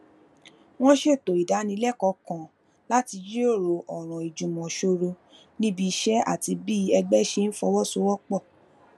wón ṣètò ìdánilékòó kan láti jíròrò òràn ìjùmòsòrò níbi iṣé àti bí ẹgbé ṣe ń fọwọ sowó pò